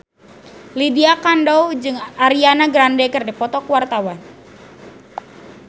Lydia Kandou jeung Ariana Grande keur dipoto ku wartawan